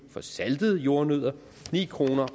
for saltede jordnødder ni kroner